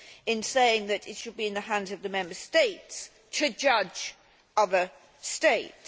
in saying that it should be in the hands of the Member States to judge other states.